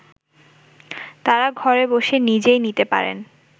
তারা ঘরে বসে নিজেই নিতে পারেন